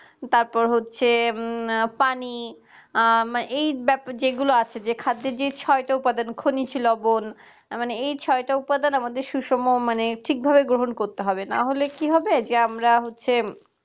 তারপর হচ্ছে পানি এই যেগুলো আছে খাদ্যের যে ছয়টা উপাদান খনিজ লবণ মানে এই ছয়টায় উপাদান আমাদের সুষম মানে ঠিকভাবে গ্রহণ করতে হবে না হলে কি হবে যে আমরা হচ্ছে